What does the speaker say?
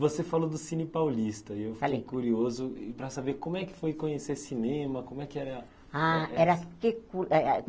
Você falou do cine paulista Falei, E eu fiquei curioso para saber como é que foi conhecer cinema, como é que era... Ah, era que co eh ah